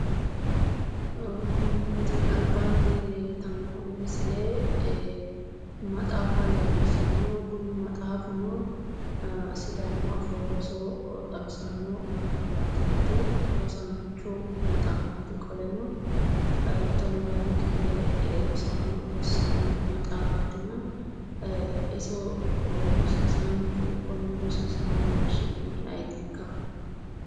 Tini albaanni leeltanno misile maxaaffa leellishshano kuni maxaafuno sidaamu afoo roso xawissano maxaaffati yaate rosaancho maxaaffati qoleno tonaa lame kifile rosaano rossanno maxaaffati iso rosiissanchu konne rosiissanohu su'mi ayitikka?